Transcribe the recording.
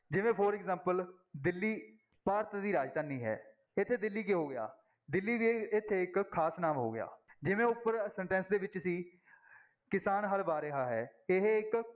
ਜਿਵੇਂ for example Delhi Bharat ਦੀ ਰਾਜਧਾਨੀ ਹੈ, ਇੱਥੇ ਦਿੱਲੀ ਕੀ ਹੋ ਗਿਆ ਦਿੱਲੀ ਵੀ ਇੱਥੇ ਇੱਕ ਖ਼ਾਸ ਨਾਂਵ ਹੋ ਗਿਆ, ਜਿਵੇਂ ਉੱਪਰ sentence ਦੇ ਵਿੱਚ ਸੀ ਕਿਸਾਨ ਹਲ ਵਾਹ ਰਿਹਾ ਹੈ, ਇਹ ਇੱਕ